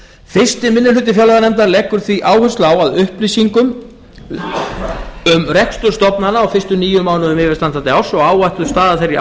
fyrsti minni hluti fjárlaganefndar leggur því áherslu á að upplýsingum um rekstur stofnana á fyrstu níu mánuðum yfirstandandi árs og áætluð staða þeirra í